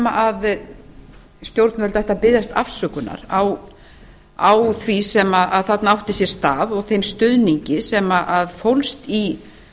að stjórnvöld ættu að biðjast afsökunar á því sem þarna átti sér stað og þeim stuðningi sem fólst í